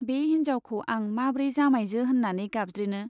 बे हिन्जाउखौ आं माब्रै जामाइजो होन्नानै गाबज्रिनो ?